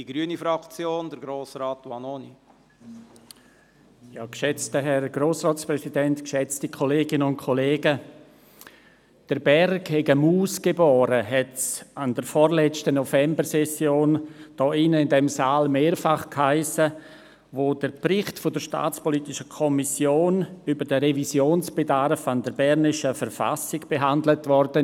Der Berg habe eine Maus geboren, hiess es an der vorletzten Novembersession hier in diesem Saal mehrfach, als der Bericht der SAK über den Revisionsbedarf der bernischen Verfassung behandelt wurde.